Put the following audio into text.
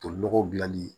Tolinɔgɔ dilanli ye